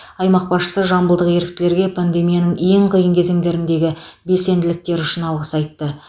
аймақ басшысы жамбылдық еріктілерге пандемияның ең қиын кезеңдеріндегі белсенділіктері үшін алғыс айтты